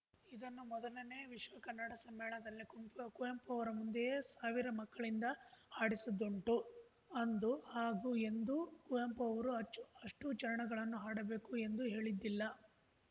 ಇದನ್ನು ಮೊದಲನೇ ವಿಶ್ವಕನ್ನಡ ಸಮ್ಮೇಳನದಲ್ಲಿ ಕುಂಪು ಕುವೆಂಪು ಅವರ ಮುಂದೆಯೇ ಸಾವಿರ ಮಕ್ಕಳಿಂದ ಹಾಡಿಸಿದ್ದುಂಟು ಅಂದು ಹಾಗೂ ಎಂದೂ ಕುವೆಂಪು ಅವರು ಅಚ್ಚು ಅಷ್ಟೂಚರಣಗಳನ್ನು ಹಾಡಬೇಕು ಎಂದು ಹೇಳಿದ್ದಿಲ್ಲ